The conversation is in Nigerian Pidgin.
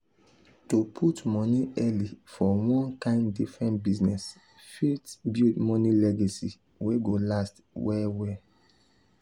to put money early for one kind different business fit build money legacy wey go last well well.